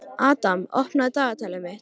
Adam, opnaðu dagatalið mitt.